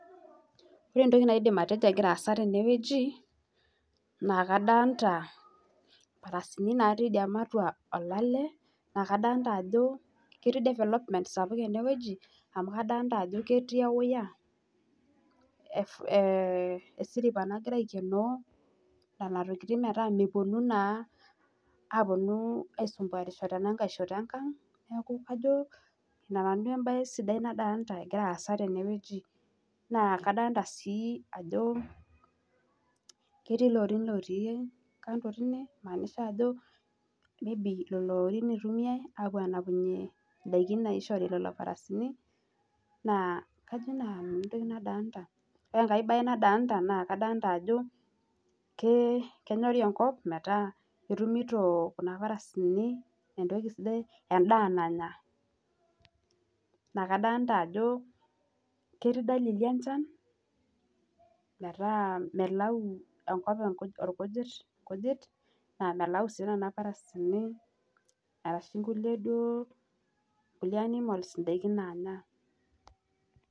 Ore entoki naidim atejo kegira aasa naa kadolta ajo ketii imbartan , nadolta ajo ketii development enewueji amu kadolta ajo ketii ewaya amu keibooyo naa nena tokitin metaa meponu naa aitanyamalisho tenkang , niaku kajo nena duo embae sidai nadolta tenewueji , naa kadolta sii ajo ketii iltorin otii kando nagira aitodolu nchere ndaiki enapieki napuoi aisho nena mbaratan .Ore enkae bae nadolta naa kadolta ajo kenyori enkop metaa etumito kuna parasini endaa nanya , naa kadolta ajo ketii dalili enchan metaa melau imparasini irkujit ashu kulie duo animals indaiki nanya .